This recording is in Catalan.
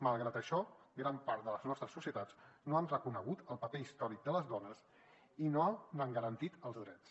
malgrat això gran part de les nostres societats no han reconegut el paper històric de les dones i no n’han garantit els drets